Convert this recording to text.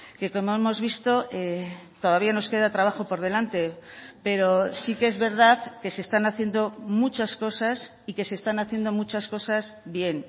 que como hemos visto todavía nos queda trabajo por delante pero sí que es verdad que se están haciendo muchas cosas y que se están haciendo muchas cosas bien